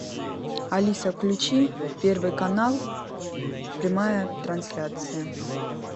алиса включи первый канал прямая трансляция